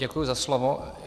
Děkuji za slovo.